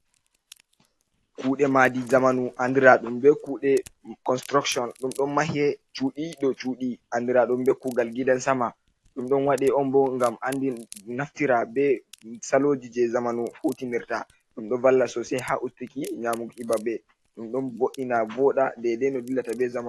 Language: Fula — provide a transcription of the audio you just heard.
Kude madi zamanu andira ɗum be kuɗe construction ɗum ɗon mahe cuɗi dou cuɗi andira ɗum be kugal gidan sama, ɗum dony waɗe on bo ngam andi naftira be saloji je zamanu hutinirta ɗum ɗon valla sosai ha ustiki nyamuki himɓɓe babe ɗum ɗon boɗɗi na boda dede no dillata be zamanu.